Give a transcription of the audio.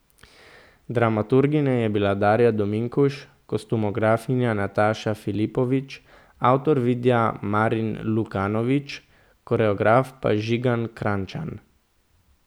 Dramaturginja je bila Darja Dominkuš, kostumografinja Nataša Filipovič, avtor videa Marin Lukanović, koreograf pa Žigan Krajnčan.